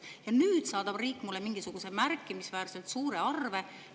Ja nüüd saadab riik mulle mingisuguse märkimisväärselt suure arve.